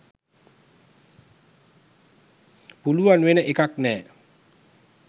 පුළුවන් වෙන එකක් නෑ.